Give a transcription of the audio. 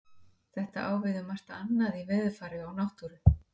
Þetta á við um margt annað í veðurfari og náttúru.